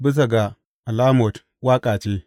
Bisa ga alamot Waƙa ce.